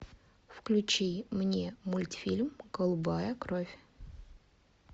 включи мне мультфильм голубая кровь